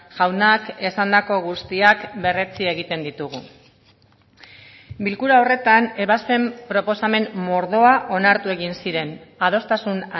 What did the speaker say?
jaunak esandako guztiak berretsi egiten ditugu bilkura horretan ebazpen proposamen mordoa onartu egin ziren adostasun